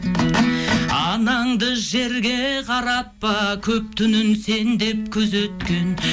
анаңды жерге қаратпа көк түнін сен деп күзеткен